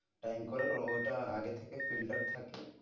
Time কলের ওটা আগে থেকে filter থাকে,